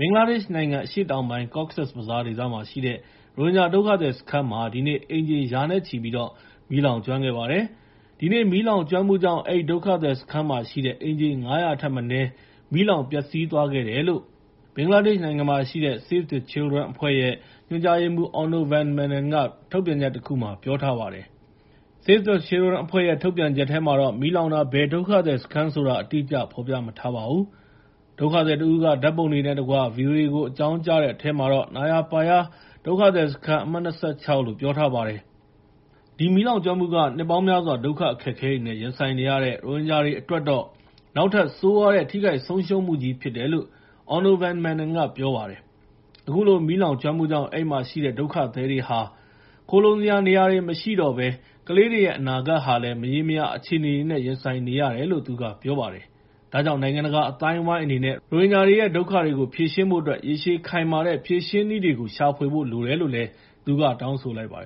ဘင်္ဂလားဒေ့ရှ်နိုင်ငံ အရှေ့တောင်ပိုင်း Cox’s Bazar ဒေသမှာရှိတဲ့ ရိုဟင်ဂျာဒုက္ခသည်စခန်းမှာ ဒီနေ့ အိမ်ခြေ ရာနဲ့ချီပြီး မီးလောင်ကျွမ်းခဲ့ပါတယ်။ ဒီနေ့ မီးလောင်ကျွမ်းမှုကြောင့် အဲဒီဒုက္ခသည်စခန်းမှာရှိတဲ့ အိမ်ခြေ ၅၀၀ ထက်မနည်း မီးလောင် ပျက်စီးသွားခဲ့တယ်လို့ ဘင်္ဂလားဒေ့ရှ်နိုင်ငံမှာရှိတဲ့ Save the Children အဖွဲ့ ညွှန်ကြားရေးမှူး Onno van Manen က ထုတ်ပြန်ချက်တခုမှာ ပြောထားပါတယ်။ Save the Children အဖွဲ့ရဲ့ထုတ်ပြန်ချက်ထဲမှာ မီးလောင်တာ ဘယ်ဒုက္ခသည်စခန်းဆိုတာ အတိအကျ ဖော်ပြမထားပါဘူး။ ဒုက္ခသည်တစ်ဦးက ဓာတ်ပုံတွေနဲ့တကွ ဗွီအိုအေကို အကြောင်းကြားထားတဲ့ထဲမှာတော့ Nayapara ဒုက္ခသည်စခန်း အမှတ် ၂၆ လို့ပြောထားပါတယ်။ ဒီမီးလောင်ကျွမ်းမှုက နှစ်ပေါင်းများစွာ ဒုက္ခအခက်အခဲတွေ ရင်ဆိုင်နေရတဲ့ ရိုဟင်ဂျာတွေအတွက်တော့ နောက်ထပ် ဆိုးရွားတဲ့ ထိခိုက်ဆုံးရှုံးမှုကြီဖြစ်တယ်လို့ Onno van Manen ကပြောပါတယ်။ အခုလို မီးလောင်ကျွမ်းမှုကြောင့် အဲဒီမှာရှိနေတဲ့ ဒုက္ခသည်တွေဟာ သူတို့ခိုလှုံစရာ နေရာတွေ မရှိတော့ဘဲ ကလေးတွေရဲ့ အနာဂတ်ဟာလည်း မရေမရာ အခြေအနေတွေနဲ့ ရင်ဆိုင်နေကြတယ်လို့ သူကပြောပါတယ်။ ဒါကြောင့် နိုင်ငံတကာအသိုင်းအဝိုင်းအနေနဲ့ ရိုဟင်ဂျာတွေရဲ့ ဒုက္ခတွေကို ဖြေရှင်းဖို့အတွက် ရေရှည်ခိုင်မာတဲ့ ဖြေရှင်းနည်းတွေကို ရှာဖွေဖို့ လိုတယ်လို့လည်း သူက တောင်းဆိုလိုက်ပါတ